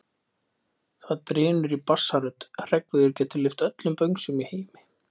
Það drynur í bassarödd: Hreggviður getur lyft öllum böngsum í heimi!